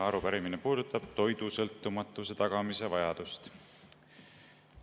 Arupärimine puudutab toidusõltumatuse tagamise vajadust.